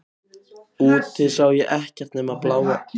Úti sá ég ekkert nema bláa krossinn á kirkjunni.